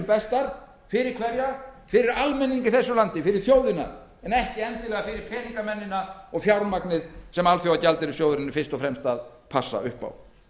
bestar fyrir hverja fyrir almenning í landinu fyrir þjóðina en ekki endilega fyrir peningamennina og fjármagnið sem alþjóðagjaldeyrissjóðurinn er fyrst og fremst að passa upp á